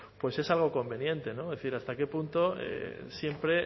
pues es algo conveniente es decir hasta qué punto siempre